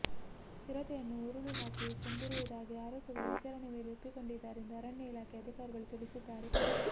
ಚಿರತೆಯನ್ನು ಉರುಳು ಹಾಕಿ ಕೊಂದಿರುವುದಾಗಿ ಆರೋಪಿಗಳು ವಿಚಾರಣೆಯ ವೇಳೆ ಒಪ್ಪಿಕೊಂಡಿದ್ದಾರೆಂದು ಅರಣ್ಯ ಇಲಾಖೆ ಅಧಿಕಾರಿಗಳು ತಿಳಿಸಿದ್ದಾರೆ